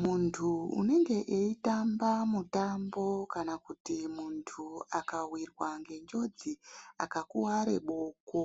Muntu unenge eitamba mutambo kana kuti muntu akawirwa ngenjodzi akakuwara boko